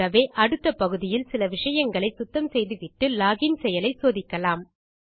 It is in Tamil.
ஆகவே அடுத்த பகுதியில் சில விஷயங்களை சுத்தம் செய்துவிட்டு லோகின் செயலை சோதிக்கலாம்